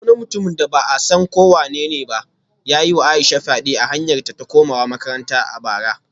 Wani mutum da ba a san ko wanene ba ya yi wa Aisha fyade a kan hanyarta ta komawa makaranta a bara